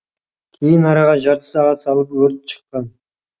кейін араға жарты сағат салып өрт шыққан